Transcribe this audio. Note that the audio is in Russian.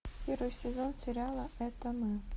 первый сезон сериала это мы